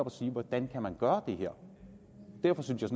at sige hvordan kan man gøre det her derfor synes jeg